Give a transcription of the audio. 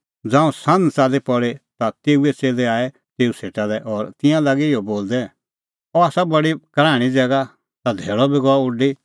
ज़ांऊं सान्ह च़ाल्ली पल़ी ता तेऊए च़ेल्लै आऐ तेऊ सेटा लै और तिंयां लागै इहअ बोलदै अह आसा बडी कराहणीं ज़ैगा ता धैल़अ बी गअ उडी